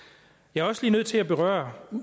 jeg er også nødt til lige at berøre